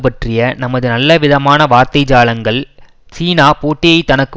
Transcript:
பற்றிய நமது நல்லவிதமான வார்த்தைஜாலங்கள் சீனா போட்டியை தனக்கு